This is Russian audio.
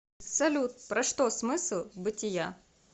салют про что смысл бытия